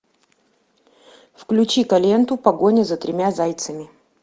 включи ка ленту погоня за тремя зайцами